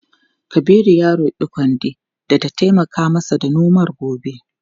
Kabiru ya roki kande da ta taimaka masa da nomar gobe.